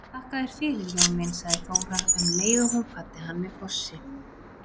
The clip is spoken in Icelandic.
Þakka þér fyrir Jón minn, sagði Þóra um leið og hún kvaddi hann með kossi.